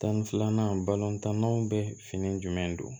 Tan ni filanan balɔntannanw bɛ fini jumɛn don